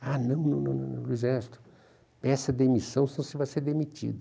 Ah, não, não não não não Luiz Ernesto, peça demissão, senão você vai ser demitido.